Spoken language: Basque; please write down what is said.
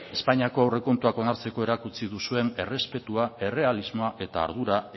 espainiako aurrekontuak onartzeko erakutsi duzuen errespetua errealismoa eta ardura